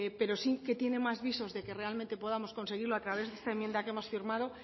pero sí que tiene más visos de que realmente podamos conseguirlo a través de esta enmienda que hemos firmado